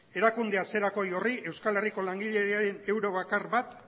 erakunde atzerakoi horri euskal herriko langileen euro bakar bat